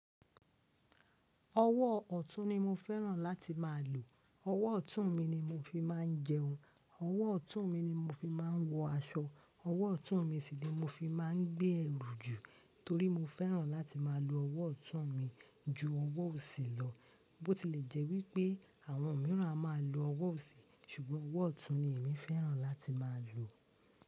Ọwọ́ ọ̀tún ni mo fẹ́ràn láti má a lò. Ọwọ́ ọ̀tún mi ni mo fi má a ń jẹun, ọwọ́ ọ̀tún mi ni mo fi má a ń wọ aṣọ, ọwọ́ ọ̀tún mi sì ni mo fi má a ń gbé ẹrù jù torí mo fẹ́ràn láti má a lo ọwọ́ ọ̀tún mi ju ọwọ́ òsì lọ. Bó ti lè jẹ́ wípé àwọn mìíràn a má a lo ọwọ́ òsì ṣùgbọ́n ọwọ́ ọ̀tún ni èmi fẹ́ràn láti má a lò.